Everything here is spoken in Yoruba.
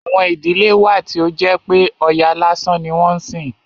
Àwọn ìdílé wà tí ó jẹ́ pé Ọya lásán ni wọ́n ń sìn.